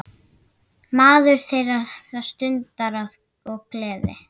Maður þeirrar stundar og gleði.